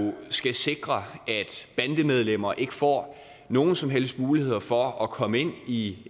skal sikre at bandemedlemmer ikke får nogen som helst muligheder for at komme ind i